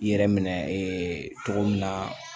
I yɛrɛ minɛ ee cogo min na